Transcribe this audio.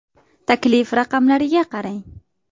Taklif raqamlariga qarang.